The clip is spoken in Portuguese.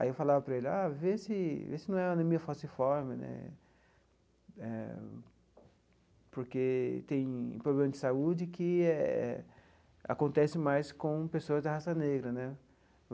Aí eu falava para ele ah, vê se vê se não é anemia falciforme né eh, porque tem problema de saúde que eh acontece mais com pessoas da raça negra né.